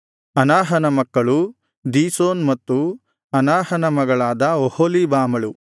ಅನಾಹನ ಮಕ್ಕಳು ದೀಶೋನ್ ಮತ್ತು ಅನಾಹನ ಮಗಳಾದ ಒಹೊಲೀಬಾಮಳು